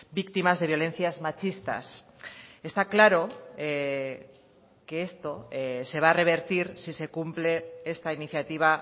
víctimas de violencias machistas está claro que esto se va a revertir si se cumple esta iniciativa